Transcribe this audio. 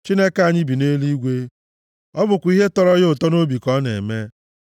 Chineke anyị bi nʼeluigwe. Ọ bụkwa ihe tọrọ ya ụtọ nʼobi ka ọ na-eme.